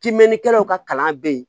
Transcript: Timinɛnnikɛlaw ka kalan bɛ yen